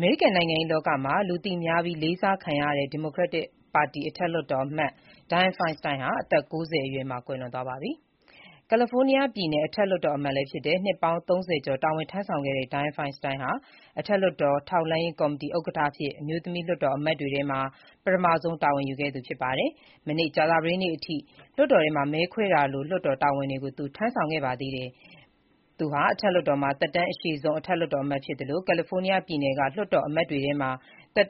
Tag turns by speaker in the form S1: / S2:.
S1: မေရိကန်နိုင်ငံရေးလောကမှာ လူသိများပြီး လေးစားခံရတဲ့ Democratic ပါတီအထက်လွှတ်တော်အမတ် Dianne Feinstein အသက် ၉၀ မှာ ကွယ်လွန်သွားပါတယ်။ California ပြည်နယ်အထက်လွှတ်တော်အမတ်အဖြစ် နှစ်ပေါင်း ၃၀ ကျော် တာဝန်ထမ်းဆောင်ခဲ့တဲ့ Dianne Feinstein ဟာ အထက်လွှတ်တော် ထောက်လှမ်းရေးကော်မတီဥက္ကဋ္ဌအဖြစ် အမျိုးသမီးလွှတ်တော်အမတ်တွေထဲမှာ ပထမဆုံး တာဝန်ယူခဲ့သူဖြစ်ပါတယ်။ မနေ့ ကြာသပတေးနေ့ (စက်တင်ဘာ ၂၈) အထိ လွှတ်တော်ထဲမှာ မဲခွဲတာလို့ လွှတ်တော်တာဝန်တွေကို သူထမ်းဆောင်ခဲ့ပါတယ်။ သူဟာ အထက်လွှတ်တော်မှာ သက်တမ်းအရှည်ဆုံး အထက်လွှတ်တော်အမတ်ဖြစ်သလို၊ California ပြည်နယ်က လွှတ်တော်အမတ်သက်